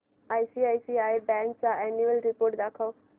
ICICI bank annual report दाखव